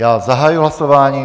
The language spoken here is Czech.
Já zahajuji hlasování.